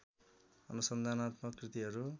अनुसन्धानात्मक कृतिहरू